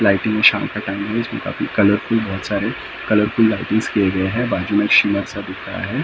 इसमें कलरफूल बहोत सारे कलरफूल लाइटिंग्स किए गए है बाजू में दिख रहा है।